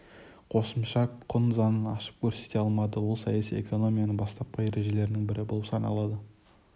қосымша құн заңын ашып көрсете алмады ол саяси экономияның бастапқы ережелерінің бірі болып саналды